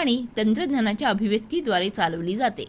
आणि तंत्रज्ञानाच्या अभिव्यक्तीद्वारे चालवली जाते